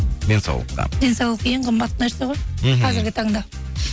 денсаулыққа денсаулық ең қымбат нәрсе ғой мхм қазіргі таңда